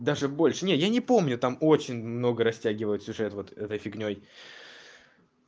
даже больше нет я не помню там очень много растягивают сюжет вот этой фигнёй